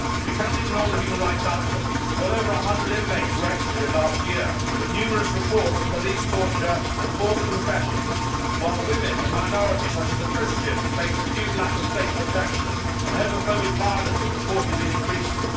We cannot ignore the human rights outlook well over a hundred inmates were executed last year, with numerous reports of police torture and forced confessions, while women and minorities such as the Christians face acute lack of state protection, and homophobic violence has reportedly been increasing.